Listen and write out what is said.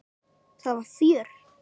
Það var fjör.